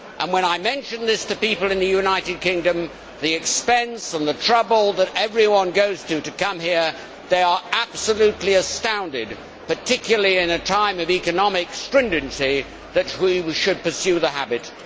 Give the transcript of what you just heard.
When I mention this to people in the United Kingdom the expense and the trouble that everyone goes to to come here they are absolutely astounded, particularly in a time of economic stringency, that we should pursue the habit.